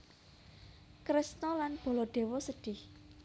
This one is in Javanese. Kresna lan Baladewa sedhih